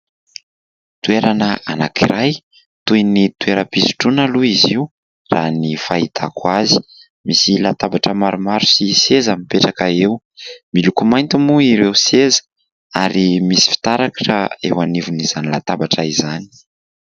Toerana anankiray toy ny toeram-pisotroana aloha izy io raha ny fahitako azy. Misy latabatra maromaro sy seza mipetraka eo; miloko mainty moa ireo seza ary misy fitaratra eo anivon'izany latabatra izany.